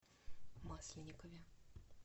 масленникове